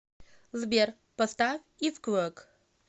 сбер поставь ифквок